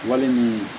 Wali ni